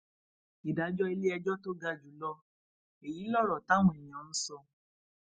ìdájọ iléẹjọ tó ga jù lọ èyí lọrọ táwọn èèyàn sọ